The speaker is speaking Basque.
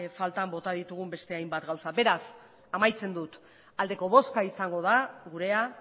falta bota ditugun beste hainbat gauza beraz amaitzen dut aldeko boska izango da gurea